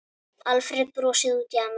Alfreð brosir út í annað.